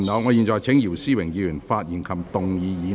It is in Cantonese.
我現在請姚思榮議員發言及動議議案。